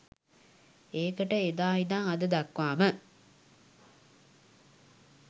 ඒකට එදා ඉඳන් අද දක්වාම